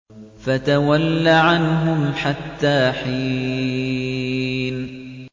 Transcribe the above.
فَتَوَلَّ عَنْهُمْ حَتَّىٰ حِينٍ